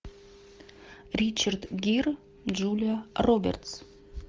ричард гир джулия робертс